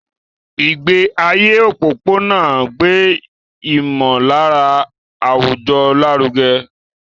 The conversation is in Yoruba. Ìgbé ayé òpópónà ń gbé ìmọ̀lára àwùjọ lárugẹ.